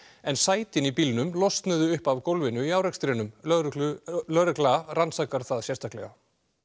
en sætin í bílnum losnuðu upp af gólfinu í árekstrinum lögregla lögregla rannsakar það sérstaklega